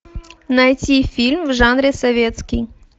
найти фильм в жанре советский